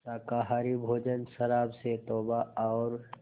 शाकाहारी भोजन शराब से तौबा और